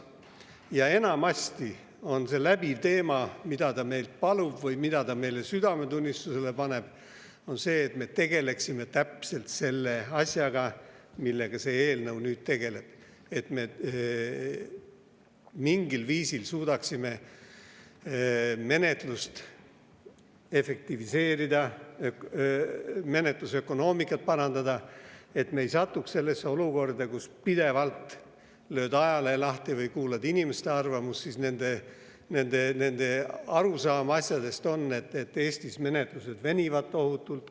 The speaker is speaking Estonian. Ja enamasti on läbiv teema, mida ta meilt palub või mida ta meile südametunnistusele paneb, see, et me tegeleksime just selle asjaga, millega see eelnõu nüüd tegeleb: et me mingil viisil suudaksime menetlust efektiivistada, menetlusökonoomikat parandada, et me ei satuks sellesse olukorda, kus pidevalt selgub, lööd ajalehe lahti või kuulad inimeste arvamust, et arusaam on, et Eestis menetlused venivad tohutult.